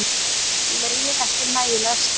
Lögin ekki nægilega skýr